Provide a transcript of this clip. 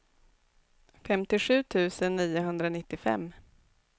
femtiosju tusen niohundranittiofem